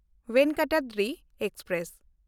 Venkatadri express